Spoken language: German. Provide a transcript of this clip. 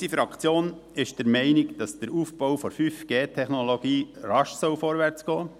Unsere Fraktion ist der Meinung, dass der Aufbau der 5G-Technologie rasch vorwärtsgehen soll.